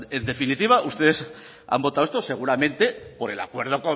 en definitiva ustedes han votado esto seguramente por el acuerdo